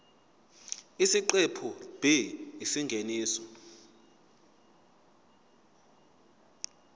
isiqephu b isingeniso